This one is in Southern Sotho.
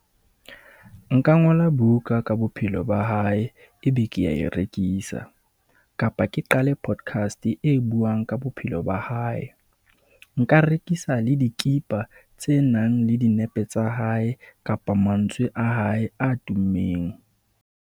Nka ngola buka ka bophelo ba hae, E be ke ya e rekisa, kapa ke qale podcast e buang ka bophelo ba hae. Nka rekisa le dikipa tse nang le dinepe tsa hae kapa mantswe a hae a tummeng.